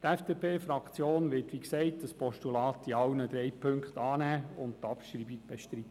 Die FDP-Fraktion wird das Postulat wie gesagt in allen drei Punkten annehmen und die Abschreibung bestreiten.